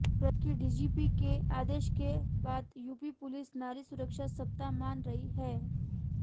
प्रदेश के डीजीपी के आदेश के बाद यूपी पुलिस नारी सुरक्षा सप्ताह मना रही है